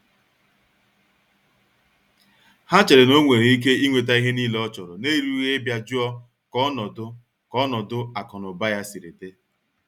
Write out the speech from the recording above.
Ha chere na onwere Ike inweta ihe niile ọchọrọ n'erughị ịbịa jụọ ka ọnọdụ ka ọnọdụ akụ na ụba ya siri di.